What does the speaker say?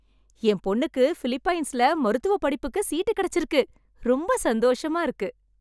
என் பொண்ணுக்கு பிலிப்பைன்ஸ்ல மருத்துவ படிப்புக்கு சீட்டு கிடைச்சிருக்கு. ரொம்ப சந்தோஷமா இருக்கு.